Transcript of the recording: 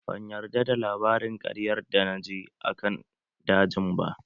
Ban yarda da labarin ƙaryar da na ji akan dajin ba